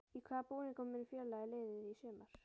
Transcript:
Í hvaða búningum mun félagið liðið í sumar?